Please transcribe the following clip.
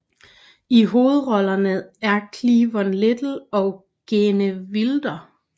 I hovedrollerne er Cleavon Little og Gene Wilder